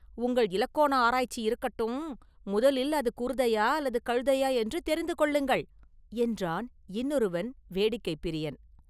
“உங்கள் இலக்கோண ஆராய்ச்சி இருக்கட்டும்; முதலில் அது குருதையா அல்லது கழுதையா என்று தெரிந்து கொள்ளுங்கள்!” என்றான் இன்னொருவன் வேடிக்கைப் பிரியன்.